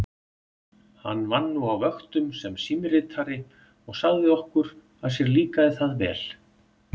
Hann vann nú á vöktum sem símritari og sagði okkur að sér líkaði það vel.